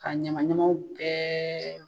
K'a ɲɛman ɲamanw bɛɛ